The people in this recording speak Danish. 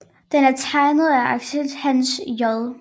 Den er tegnet af arkitekt Hans J